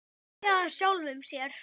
Hlæja að sjálfum sér.